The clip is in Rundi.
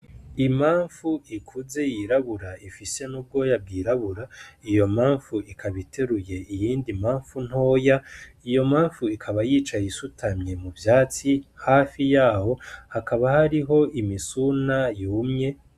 Imafu ikuze yirabura ifise n'ubwoya bwirabura iyo mafu ikaba iteruye iyindi mafu ntoya iyo mafu ikaba yicaye isutamye mu vyatsi hafi yaho hakaba hariho imisuna yumye....